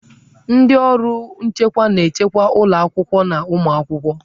Ndị ọrụ nchekwa na-echekwa ụlọ akwụkwọ na ụmụ akwụkwọ.